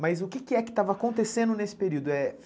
Mas o que é que estava acontecendo nesse período?